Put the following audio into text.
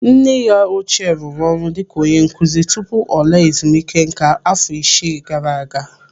Nne ya ochie rụrụ ọrụ dịka onye nkụzi tupu ọ laa ezumike nká afọ isii gara aga.